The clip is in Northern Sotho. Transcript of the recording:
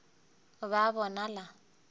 o be a bonala a